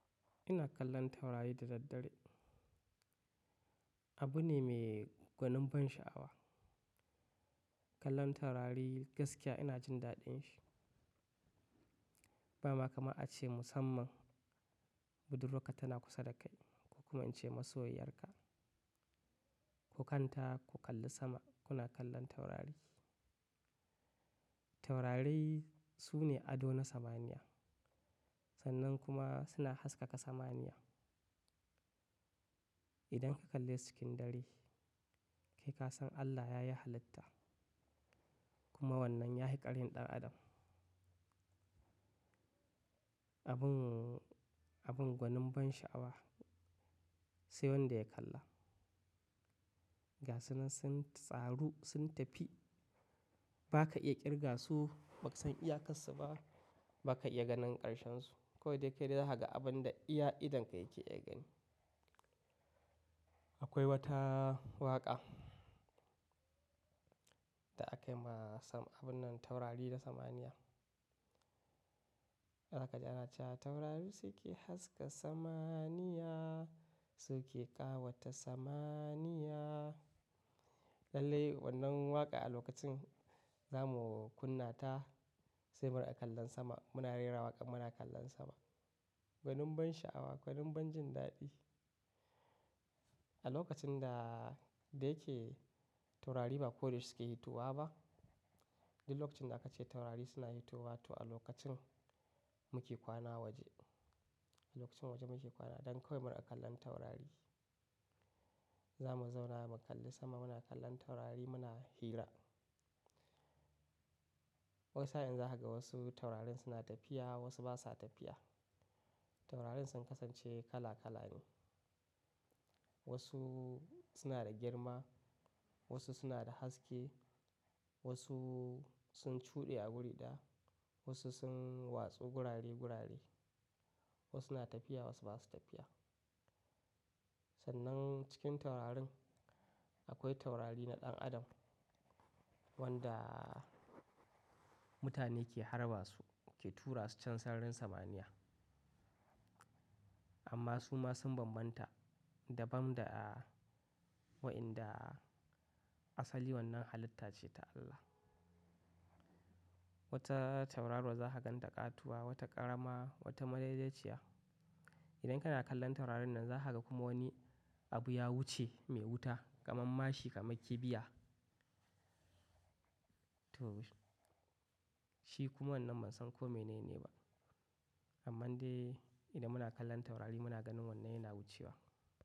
Ina kallon taurari da daddare. Abu ne mai gwanin ban sha'awa. Kallon taurari gaskiya ina jin daɗin shi. Ba ma kamar a ce musamman, budurwa ka tana kusa da kai, ka kuma ince masoyiyar ka. Ku kanta, ku kalli sama, kuna kallon taurari. Taurari su ne ado na samaniya. Sannan kuma suna haskaka samaniya. Idan ka kallesu cikin dare, kai ka san Allah yayi halitta. Kuma wannan yahii ƙarhin ɗan adam. Abin, abin gwanin ban sha'awa, sai wanda ya kalla. Gasunan sun tsaru, sun tafi. Ba ka iya ƙirga su, ba ka san iya karsu ba. Ba ka iya ganin ƙarshensu. Ko dai kai dai za ka ga abin da iya idon ka yake iya gani. Akwai wata waƙa da aka yi ma sam-- abun nan taurari da samaniya. "Za ka ji ana cewa taurari su ke haska samaniya, su ke ƙawata samaniya." Lallai wannan waƙa a lokacin za mu kunna ta, sai mun a kallon sama. Muna rera waƙar muna kallon sama. Gwanin ban sha'awa, gwanin ban jin daɗi. A lokacin da, dai yake taurari ba koda yashe su ke hitowa ba. Duk lokacin da aka ce taurari suna hitowa, to a lokacin muke kwana waje. A lokacin waje muke kwana don kawai muna kallon taurari. Za mu zauna mu kalli sama, muna kallon taurari muna hira. Wasu sa'in za ka ga wasu taurarin suna tafiya, wasu ba sa tafiya. Taurarin sun kasance kala kala ne. Wasu suna da girma, wasu suna da haske, wasu sun cuɗe a wuri ɗaya, wasu sun watso gurare gurare. Wasu suna tafiya wasu ba su tafiya. Sannan cikin taurarin akwai taurari na ɗan adam wanda mutane ke harba su, ke tura su can sararin samaniya. Amma su ma sun bambanta dabam da wa'inda asali wannan halitta ce ta Allah. Wata tauraro za ka gan ta ƙatuwa, wata ƙarama, wata madaidaiciya. Idan kana kallon taurarin nan za ka ga kuma wani abu ya wuce mai wuta kamar mashi kamar kibiya. To shi kuma wannan ban san ko mene ne ba. Amma dai idan muna kallon taurari muna ganin wannan yana wucewa.